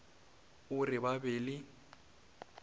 o re ba be le